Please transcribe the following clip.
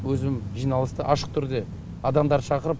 өзім жиналысты ашық түрде адамдарды шақырып